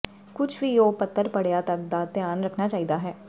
ਕੁਝ ਵੀ ਉਹ ਪੱਤਰ ਪੜ੍ਹਿਆ ਤੱਕ ਦਾ ਧਿਆਨ ਰੱਖਣਾ ਚਾਹੀਦਾ ਹੈ